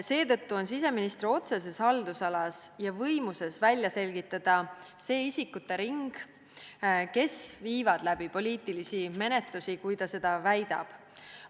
Seetõttu on siseministri otseses haldusalas võimalik välja selgitada nende isikute ring, kes viivad läbi poliitilisi menetlusi, nagu ta väidab.